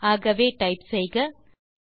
ஆகவே டைப் செய்க